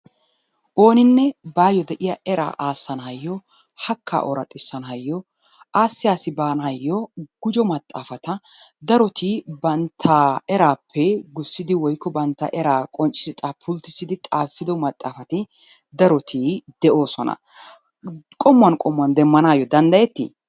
Ooninne baayyo de"iyaa eraa aassanaayyo hakkaa ooraxissanaayoo aassi aassi baanaayo gujo maxaafata daroti bantta eraappe gussidi woyikko bantta eraa qonccissi pulttissidi xaafido maxaafati daroti de'oosona. Qommuwan qommuwan demmanaayyo danddayetti?